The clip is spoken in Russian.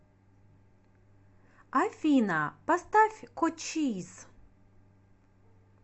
афина поставь кочиз